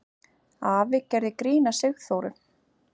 Afi gerði grín að Sigþóru.